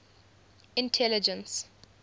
intelligence